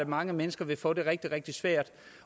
mange mennesker vil få det rigtig rigtig svært